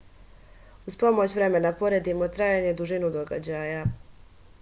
уз помоћ времена поредимо трајање дужину догађаја